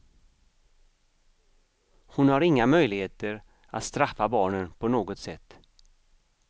Hon har inga möjligheter att straffa barnen på något sätt.